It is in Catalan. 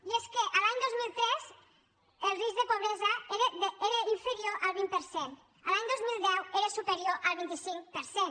i és que l’any dos mil tres el risc de pobresa era inferior al vint per cent l’any dos mil deu era superior al vint cinc per cent